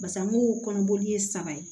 Basa mugu kɔnɔboli ye saba ye